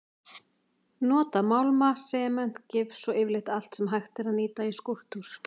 Nota málma, sement og gifs og yfirleitt allt sem hægt er að nýta í skúlptúr.